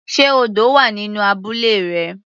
Sé odò wà nínú abúlé rẹ.